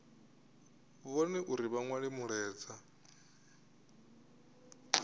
vhone uri vha nwale mulaedza